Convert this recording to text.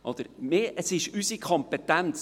Es ist unsere Kompetenz!